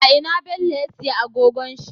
A ina bello ya siya agogon shi?